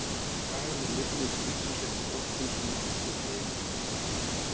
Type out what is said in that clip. Skagamenn lifnuðu til lífsins eftir brottvísunina og tóku yfirhöndina.